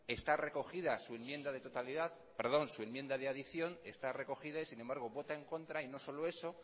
está recogida su enmienda de adición y sin embargo vota en contra y no solo eso